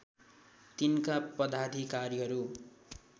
तिनका पदाधिकारीहरु